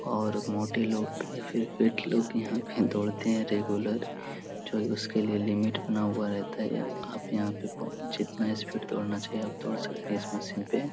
और मोटे लोग या फिर फिट लोग यहाँ पे दोढ़ते हैं रेगुलर जो उसके लिए लिमिट बना हुआ रहता हैं। आप यहाँ पे जितना स्पीड दौड़ना चाहिए आप दौड़ सकते हैं इस मशीन पे।